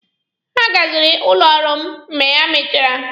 Ha gazịrị ụlọ ọrụ m mgbe ha mechachara.